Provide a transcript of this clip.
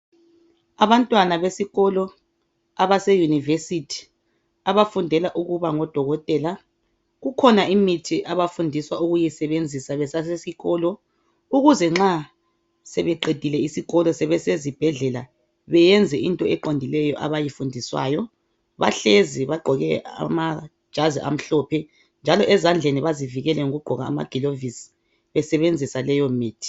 Abantwana besikola abase university abafundela ukuba ngodokotela kukhona imithi abafundiswa ukuyisebenzisa besasesikolo ukuze nxa sebeqedile isikolo sebesezibhedlela beyenze into eqondileyo abayifundiswayo bahlezi bagqoke amajazi amhlophe njalo ezandleni bazivikele ngokugqoka amaglovisi besebenzisa leyo mithi